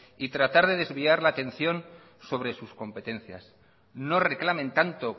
y tratar de desviar la atención sobre sus competencias no reclamen tanto